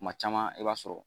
kuma caman i b'a sɔrɔ.